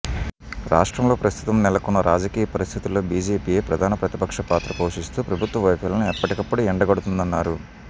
రాష్ట్రంలో ప్రస్తుతం నెలకొన్న రాజకీయ పరిస్థితుల్లో బీజేపీయే ప్రధాన ప్రతిపక్ష పాత్ర పోషిస్తూ ప్రభుత్వ వైఫల్యాలను ఎప్పటికప్పుడు ఎండగడుతుందన్నారు